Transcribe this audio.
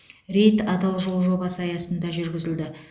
рейд адал жол жобасы аясында жүргізілді